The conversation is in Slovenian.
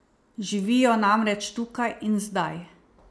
Živijo namreč tukaj in zdaj.